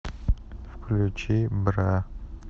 включи бра